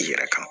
I yɛrɛ kan